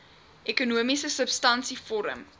ekonomiese substansie vorm